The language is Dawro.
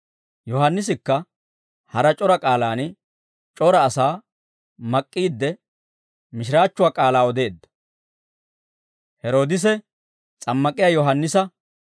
Yohaannisikka hara c'ora k'aalaan c'ora asaa mak'k'iidde mishiraachchuwaa k'aalaa odeedda.